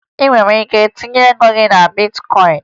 Ị nwere ike itinye ego gị na bitkọyịn